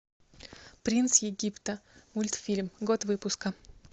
принц египта мультфильм год выпуска